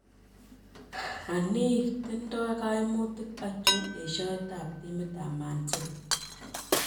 Anii, tindoi kaimutik achon esioet ab timit ab Man City